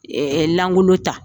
Ɛɛ lankolon ta